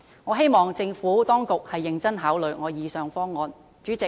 我希望政府當局認真考慮我以上的方案。